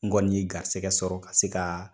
N gɔni ye garisikɛ sɔrɔ ka se ka